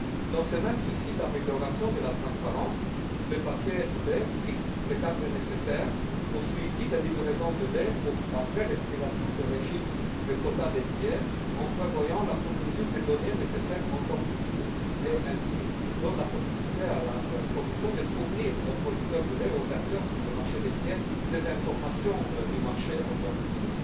Dans ce même souci d'amélioration de la transparence, le paquet lait fixe le cadre nécessaire au suivi des livraisons de lait après l'expiration du régime de quotas laitiers en prévoyant la fourniture des données nécessaires en temps utile et donne ainsi la possibilité à la Commission de fournir aux producteurs de lait et aux acteurs du marché laitier les informations du marché en temps utile.